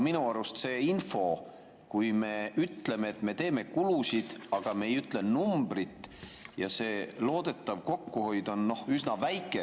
Minu arust see info, kui me ütleme, et me teeme kulusid, aga ei ütle numbrit, ja see loodetav kokkuhoid on üsna väike ...